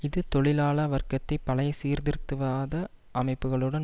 இது தொழிலாள வர்க்கத்தை பழைய சீர்திருத்தவாத அமைப்புக்களுடன்